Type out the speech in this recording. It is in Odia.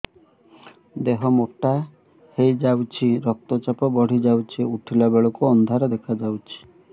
ଦେହ ମୋଟା ହେଇଯାଉଛି ରକ୍ତ ଚାପ ବଢ଼ି ଯାଉଛି ଉଠିଲା ବେଳକୁ ଅନ୍ଧାର ଦେଖା ଯାଉଛି